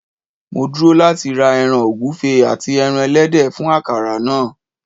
Mo dúró láti ra ẹran ọ̀gúfe ati ẹran ẹlẹ́dẹ̀ fún akara náà.